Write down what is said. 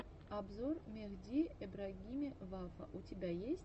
обзор мехди эбрагими вафа у тебя есть